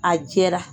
A jɛra